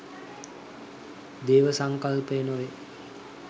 දේව සංකල්පය නොවේ.